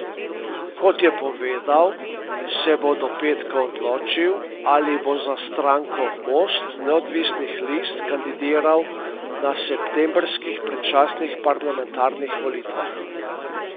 Kot je povedal, se bo do petka odločil, ali bo za stranko Most neodvisnih list kandidiral na septembrskih predčasnih parlamentarnih volitvah.